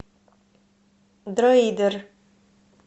дроидер